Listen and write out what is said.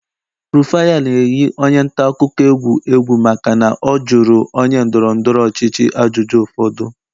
Rufai a na-eyi onye ntaakụkọ egwu egwu maka na ọ jụrụ onye ndọrọ ndọrọ ọchịchị ajụjụ ụfọdụ